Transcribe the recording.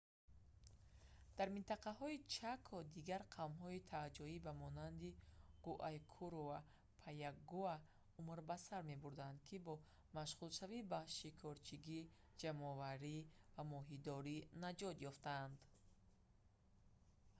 дар минтақаи чако дигар қавмҳои таҳҷоӣ ба монанди гуайкуру ва паягуа умр ба сар мебурданд ки бо машғулшавӣ ба шикорчигӣ ҷамъоварӣ ва моҳидорӣ наҷот ёфтанд